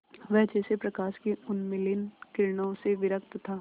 वह जैसे प्रकाश की उन्मलिन किरणों से विरक्त था